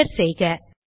enter செய்க